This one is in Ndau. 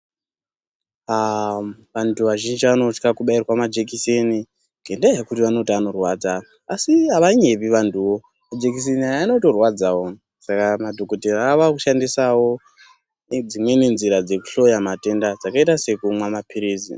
Antu azhinji anotya kubairwa majekiseni ngendaa yekuti anorwadza asi avanyepi vantuwo majekiseni aya anotorwadzawo saka madhokoteya ava kushandisawo Nedzimweni nzira dzekuhloya matenda dzakaita sekumwa mapirizi.